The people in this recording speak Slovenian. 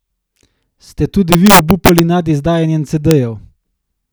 Ste tudi vi obupali nad izdajanjem cedejev?